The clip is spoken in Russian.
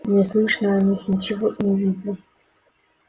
не слышно о них ничего и не видно